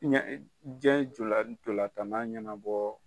Diɲɛ ntolan tanna ɲɛnabɔ